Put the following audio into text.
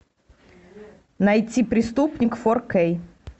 найти преступник фор кей